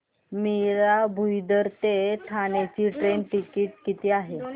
मीरा भाईंदर ते ठाणे चे train ticket किती आहे